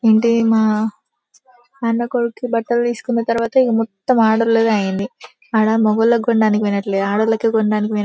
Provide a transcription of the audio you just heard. అంటే మా అయన కొడుక్కి బట్టలు తీసుకున్న తరవాత మొత్తం ఆడోళ్లదయ్యింది అయన మాగొల్లకు కొనటానికి పోయినట్లేదు ఆడోళ్లకి కొనటానికి [unintelligible_pause_noise]